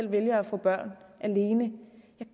vælger at få børn alene